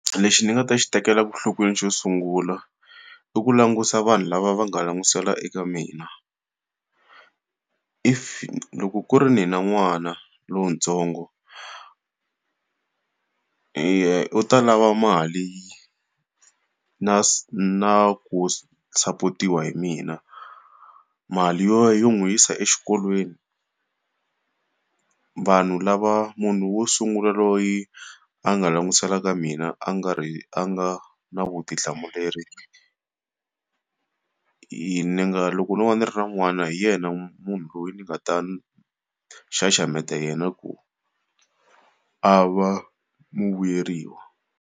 Lexi ndzi nga ta xi tekela nhlokweni xo sungula, i ku langutisa vanhu lava va nga langutisela eka mina. Loko ku ri ndzi na n'wana lontsongo, u ta lava mali na na ku sapotiwa hi mina, mali yo yo n'wi yisa exikolweni. Vanhu lava munhu wo sungula loyi a nga langutisela ka mina a nga a nga na vutihlamuleri, ni nga loko no va ni ri na n'wana hi yena munhu loyi ni nga ta xaxameta yena ku a va vuyeriwa.